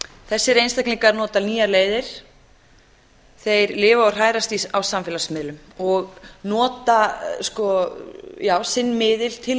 þessir einstaklingar nota nýjar leiðir þeir lifa og hrærast á samfélagsmiðlum og nota sinn miðil til